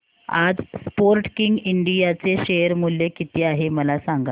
आज Sportking India चे share मूल्य किती आहे मला सांगा